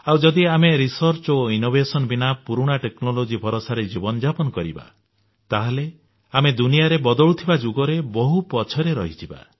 ଆଉ ଯଦି ଆମେ ଗବେଷଣା ଓ ଉଦ୍ଭାବନ ବିନା ପୁରୁଣା ଟେକ୍ନୋଲୋଜି ଭରସାରେ ଜୀବନଯାପନ କରିବା ତାହେଲେ ଆମେ ଦୁନିଆରେ ବଦଳୁଥିବା ଯୁଗରେ ବହୁ ପଛରେ ରହିଯିବା